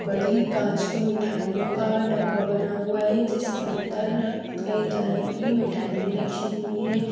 बड़ी कांच की मिठाइयों का डब्बा बना हुआ है ये जिसके अंदर कई तरह की मिठाईयाँ रखी हुई हैं।